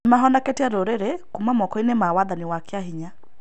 Nĩ mahonoketie rũrĩrĩ kuuma moko-inĩ ma wathani wa kĩa hinya.